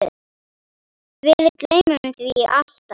Við gleymum því alltaf